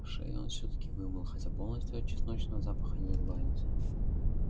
шею он всё-таки вымыл хотя полностью от чесночного запаха не избавился